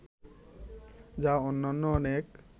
যা অন্যান্য অনেক